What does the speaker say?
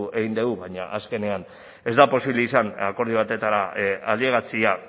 egin dugu baina azkenean ez da posible izan akordio batetara ailegatzea